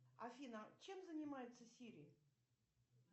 афина чем занимается сири